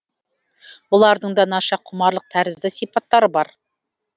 бұлардың да наша құмарлық тәрізді сипаттары бар